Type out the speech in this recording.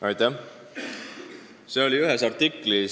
Aitäh!